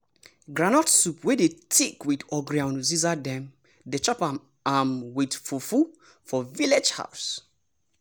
groundnut soup wey dey thick with ogiri and uziza dem dey chop um am with fufu for village house.